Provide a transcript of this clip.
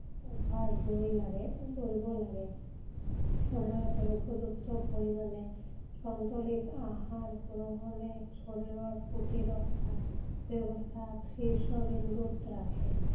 অভ্যাস গঢ়িব গঢ়িব লাগে। সময় মতে উপযুক্ত পৰিমাণে সন্তুোলিত আহাৰ গ্ৰহণে শৰীৰ প্ৰতিৰক্ষা ব্যৱস্থাক শীৰ্ষ বিন্দুত ৰাখে।